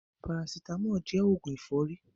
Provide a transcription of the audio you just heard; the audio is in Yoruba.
Parasitámọ̀ jẹ́ òògùn ẹ̀fọ́rí.